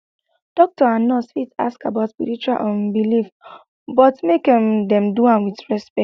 doctor and nurse fit ask about spiritual um beliefs but make um dem do am wit respect